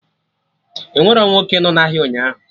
Enwerọ nwoke nọ na ahịa ụnyaahụ